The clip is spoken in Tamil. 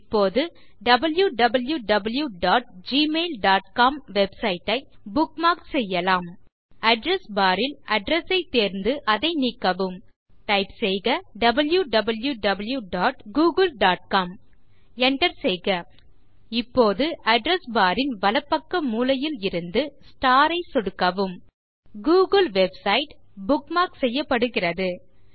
இப்போது www dot Google dot com website ஐ புக்மார்க் செய்யலாம் address பார் ல் அட்ரெஸ் ஐத் தேர்ந்து அதை நீக்கவும் டைப் செய்க www dot Google dot com Enter செய்க இப்போதுAddress பார் ன் வலப்பக்க மூலையில் இருந்து ஸ்டார் ஐ சொடுக்கவும் கூகிள் வெப்சைட் புக்மார்க் செய்யப்படுகிறது